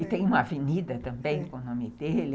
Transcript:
E tem uma avenida também com o nome dele.